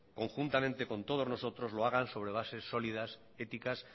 conjuntamente con todos nosotros lo hagan sobre bases sólidas éticas